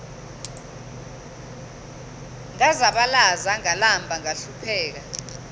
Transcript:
ngazabalaza ngalamba ngahlupheka